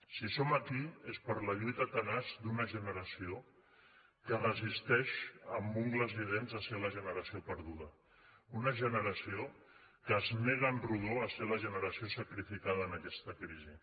si som aquí és per la lluita tenaç d’una generació que es resisteix amb ungles i dents a ser la generació perduda una generació que es nega en rodó a ser la generació sacrificada en aquesta crisi